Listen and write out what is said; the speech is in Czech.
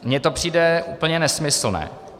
Mně to přijde úplně nesmyslné.